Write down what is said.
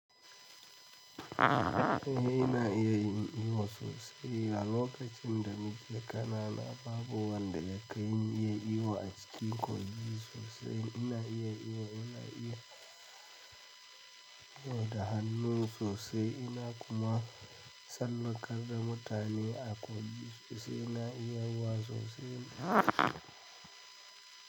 Ina iya yiwa sosai. A lokacin da nike kana na babu wanda ya kaini iya iyo acikin kogi sosai. Ina iya iyo da hannu sosai. Ina kuma tsallakar da mutane a kogi. Ina iya yiwa sosai.